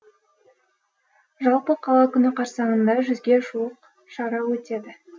жалпы қала күні қарсаңында жүзге жуық шара өтеді